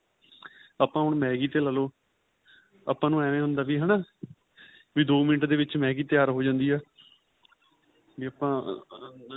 ਆਪਾਂ ਹੁਣ Maggie ਤੇ ਲਾਲੋ ਆਪਾਂ ਨੂੰ ਏਹ ਹੁੰਦਾ ਵੀ ਹੈਨਾ ਵੀ ਦੋ ਮਿੰਟ ਦੇ ਵਿੱਚ Maggie ਤਿਆਰ ਹੋ ਜਾਂਦੀ ਏ ਵੀ ਆਪਾਂ